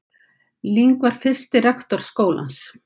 Ling var fyrsti rektor skólans.